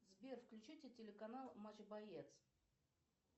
сбер включите телеканал матч боец